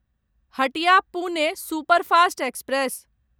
Hatia Pune superfast express